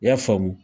I y'a faamu